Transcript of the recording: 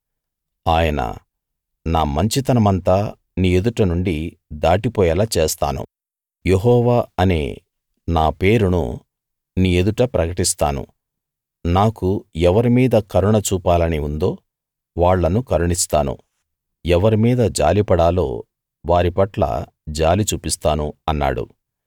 ఆయన నా మంచితనమంతా నీ ఎదుట నుండి దాటిపోయేలా చేస్తాను యెహోవా అనే నా పేరును నీ ఎదుట ప్రకటిస్తాను నాకు ఎవరిమీద కరుణ చూపాలని ఉందో వాళ్ళను కరుణిస్తాను ఎవరి మీద జాలిపడాలో వారిపట్ల జాలి చూపిస్తాను అన్నాడు